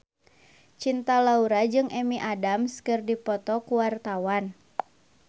Cinta Laura jeung Amy Adams keur dipoto ku wartawan